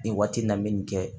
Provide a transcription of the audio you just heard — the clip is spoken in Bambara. Nin waati in na n bɛ nin kɛ